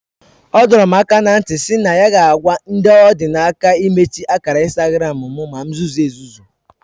O dorom aka na nti SI na ya ga agwa ndi odinaka imechi akara Instagram mu